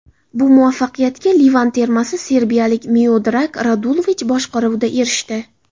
Bu muvaffaqiyatga Livan termasi serbiyalik Miodrag Radulovich boshqaruvida erishdi.